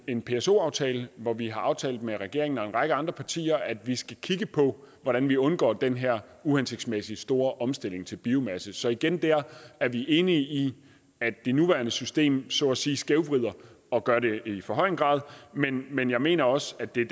en pso aftale hvor vi har aftalt med regeringen og en række andre partier at vi skal kigge på hvordan vi undgår den her uhensigtsmæssige store omstilling til biomasse så igen der er vi enige i at det nuværende system så at sige skævvrider og gør det i for høj en grad men men jeg mener også at det er